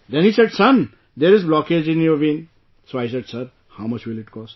Then he said "Son, there is blockage in your vein", so I said sir, how much will it cost